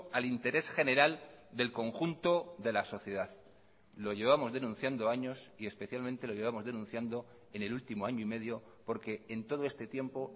al interés general del conjunto de la sociedad lo llevamos denunciando años y especialmente lo llevamos denunciando en el último año y medio porque en todo este tiempo